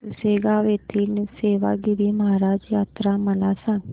पुसेगांव येथील सेवागीरी महाराज यात्रा मला सांग